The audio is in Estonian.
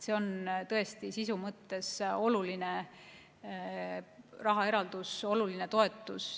See on sisu mõttes tõesti oluline rahaeraldus, oluline toetus.